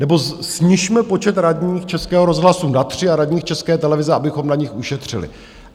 Nebo snižme počet radních Českého rozhlasu na tři a radních České televize, abychom na nich ušetřili.